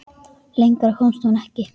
Lengra komst hún ekki.